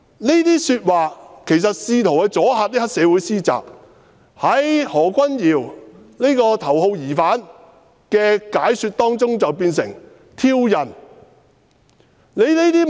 "這些話其實只是試圖阻嚇黑社會分子施襲，但經何君堯議員這名頭號疑犯解說後，便變成挑釁。